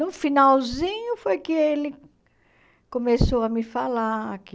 No finalzinho foi que ele começou a me falar que